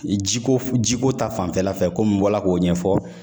Ji ko f ji ko ta fanfɛla fɛ komi n bɔla k'o ɲɛfɔ